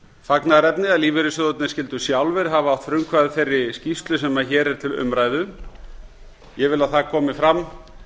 fagnaðarefni að lífeyrissjóðirnir skyldu sjálfir hafa átt frumkvæði að þeirri skýrslu sem hér er til umræðu ég vil að það komi fram